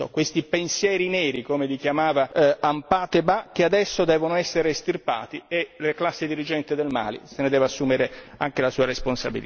Questi pensieri neri, come li chiamava Ampateba, che adesso devono essere estirpati e la classe dirigente del Mali se ne deve assumere anche la sua responsabilità.